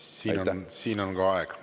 Nii, ka siin on aeg läbi.